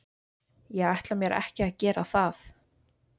Ég ætla mér ekki að gera það.